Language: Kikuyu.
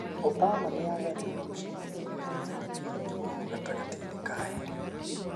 Obama nĩ aagarũrire mũcemanio ũrĩa waĩbangĩtwo gatagatĩinĩ ka erĩ.